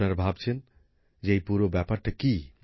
আপনারা ভাবছেন যে এই পুরো ব্যাপারটা কি